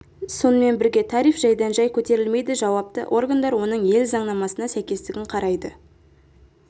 сонымен бірге тариф жайдан-жай көтерілмейді жауапты органдар оның ел заңнамасына сәйкестігін қарайды